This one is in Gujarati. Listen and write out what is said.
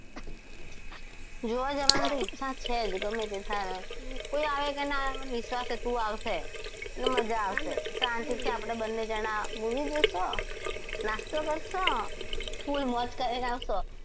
જોવા જવાની ઈચ્છા તો છે જ ગમે તે થાય કોઈ આવે કે ના આવે મારે વિશ્વાસ છે તું આવશે મજા આવશે શાંતિથી આપણે બંને જણા movie જોઈશું નાસ્તો કરશું ફુલ મોજ કરીને આવશું.